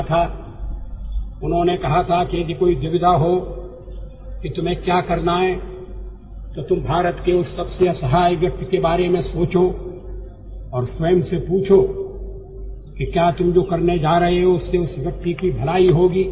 He had said that in the face of any dilemma in order to decide what to do, you should think of the poorest and the most helpless person of India; ask yourself whether your deed will result in benefiting that particular person